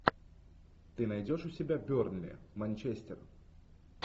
ты найдешь у себя бернли манчестер